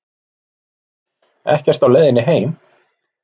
Ekkert á leiðinni heim